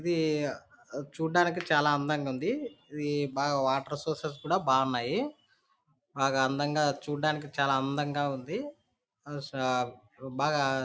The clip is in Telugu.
ఇది చూడ్డానికి చాలా అందంగుంది. ఇది బాగా వాటర్ సోర్సెస్ కూడా బాగున్నాయి. బాగా అందంగా చూడ్డానికి చాలా అందంగా ఉంది. బాగా--